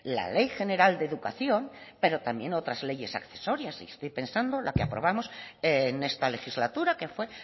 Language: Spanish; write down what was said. la ley general de educación pero también otras leyes accesorias y estoy pensando la que aprobamos en esta legislatura que fue